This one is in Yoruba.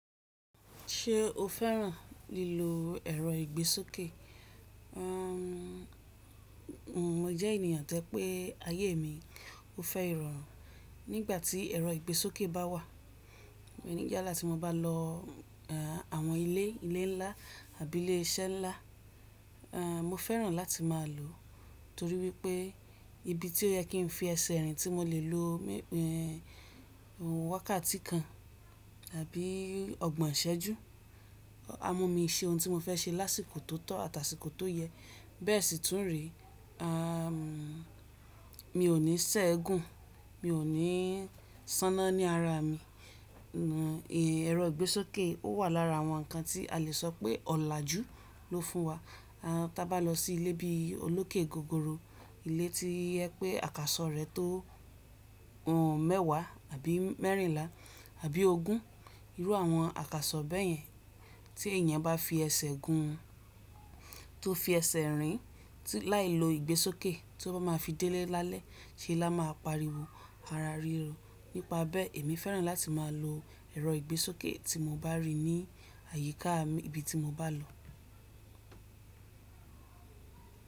Ṣé o fẹ́ràn lílo ẹ̀rọ ìgbésókè? Mo jẹ ènìyàn to je pé ayé mi o fé ìrorun nígbà tí ẹ̀rọ ìgbésókè bá wà. Níyàlá tí mo bá lọ àwọn ilé, ilé ńlá àbí ilé iṣẹ́ ńlá, ehn mo fẹ́ràn láti máa lò ó torí wípé ibi tí ó yẹ kí n fi ẹsẹ̀ rìn tí mo lè lo wákàtí kan àbí ọgbọ̀n ìṣẹ́jú, a mú mi se ohun tí mo fẹ́ ṣe lásìkò tó tọ́ àtàsìkò tó yẹ. Bẹ́ẹ̀ sì tún re uhm mi ò ní sẹ́egun, mi ò ní sánná ní ara mi. Ẹ̀rọ ìgbésókè ó wà lára àwọn ǹkan tí a lè sọ pé ọ̀làjú ló fún wa. Tí a bá lọ sí ilé bí i olókè gogoro, ilé tí o jẹ pé àkàsọ̀ rẹ̀ tó mẹ́wàá àbí mẹ́rìnlá àbí ogún, irú àwọn àkàsọ̀ bẹ́yẹn tí èèyàn bá fi ẹsẹ̀ gun tó fi ẹsẹ̀ rìn láì lo ìgbésókè tí ó bá máa fi délé lálẹ́, ṣe ẹ lá máa pariwo ara ríro? Nípa bẹ́ẹ̀ èmi fẹ́ràn láti máa lo ẹ̀rọ ìgbésókè tí mo bá rí ní àyíká ibi tí mo bá lọ.